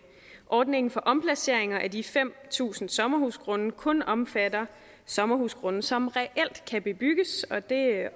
ordningen for omplaceringer af de fem tusind sommerhusgrunde kun omfatter sommerhusgrunde som reelt kan bebygges og det